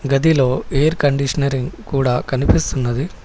గదిలో air conditioner కూడా కనిపిస్తున్నది.